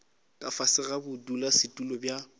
ka fase ga bodulasetulo bja